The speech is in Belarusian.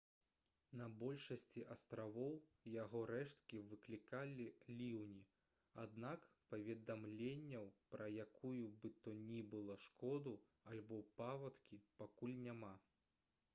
на большасці астравоў яго рэшткі выклікалі ліўні аднак паведамленняў пра якую бы то ні было шкоду альбо паводкі пакуль няма